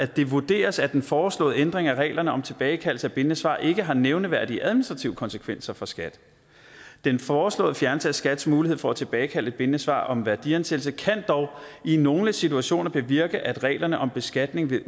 det vurderes at den foreslåede ændring af reglerne om tilbagekaldelse af bindende svar ikke har nævneværdige administrative konsekvenser for skat den foreslåede fjernelse af skats mulighed for at tilbagekalde et bindende svar om værdiansættelse kan dog i nogle situationer bevirke at reglerne om beskatning ved